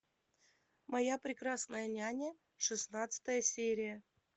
моя прекрасная няня шестнадцатая серия